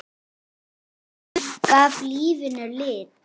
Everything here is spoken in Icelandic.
Hann gaf lífinu lit.